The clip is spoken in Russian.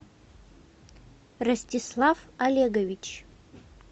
ростислав олегович